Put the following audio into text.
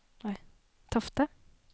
Tofte